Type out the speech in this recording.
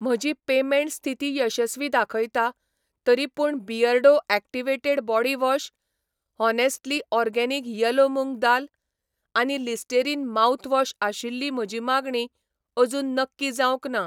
म्हजी पेमेंट स्थिती यशस्वी दाखयता, तरीपूण Beardo activated body wash, honestly organic yellow moong dal , आनी लिस्टेरीन माउथवॉश आशिल्ली म्हजी मागणी अजून नक्की जावंक ना